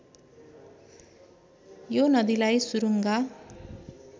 यो नदीलाई सुरूङ्गा